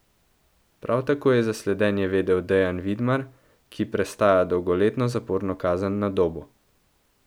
Prav tako je za sledenje vedel Dejan Vidmar, ki prestaja dolgoletno zaporno kazen na Dobu.